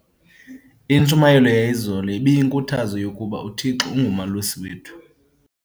Intshumayelo yayizolo ibiyinkuthazo yokuba uThixo ungumalusi wethu.